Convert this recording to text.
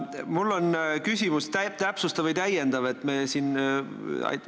Mul on täpsustav või täiendav küsimus.